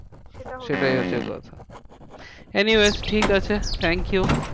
সেটা হচ্ছে সেটাই হচ্ছে কথা। anyways ঠিকাছে thank you.